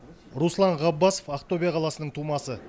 руслан ғаббасов ақтөбе қаласының тумасы